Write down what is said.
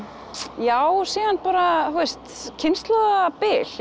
já síðan bara þú veist kynslóðabil ég